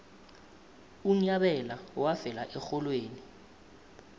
unyabela wafela erholweni